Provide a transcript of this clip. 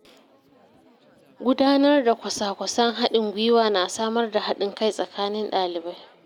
Gudanar da kwasa-kwasan haɗin gwiwa na samar da haɗin kai tsakanin ɗalibai.